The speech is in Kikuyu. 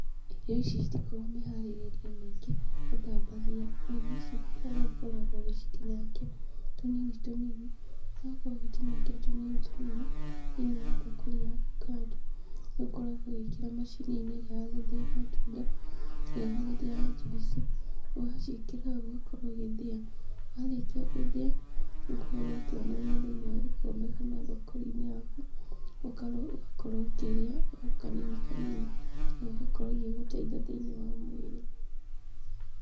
Irio ici citikoragwo mĩharĩrĩrie mĩingĩ, ũthambagia nyeni ici harĩa ũkoragwo ũgĩcitinangia tũnini tũnini, rĩrĩa wakorwo ũgĩcitinangia tũnini tũnini thĩinĩ wa mbakũri yaku kando, nĩũkoragwo ũgĩkĩra macini-inĩ ĩrĩa ya gũthĩa matunda, ĩrĩa ya gũthĩa njuici, na waciĩkĩra hau ũgakorwo ũgĩthĩa, na warĩkia gũthĩa, nĩũkoragwo ũkĩonoria thĩinĩ wa gĩkombe kana mbakũri-inĩ yaku, ũgakorwo ũkĩrĩa o kanini kanini, na igakorwo igĩgũteithia thĩinĩ wa mwĩrĩ.